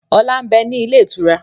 Ọlá ń bẹ ní ilé ìtura